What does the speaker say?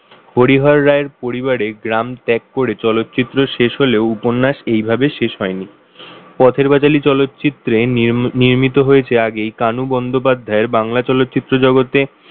হরিহর রায়ের পরিবারে গ্রাম ত্যাগ করে চলচ্চিত্র শেষ হলেও উপন্যাস এইভাবে শেষ হয়নি। পথের পাঁচালী চলচ্চিত্রে নির্মিত হয়েছে আগেই কানু বন্দ্যোপাধ্যায়ের বাংলা চলচ্চিত্র জগতে,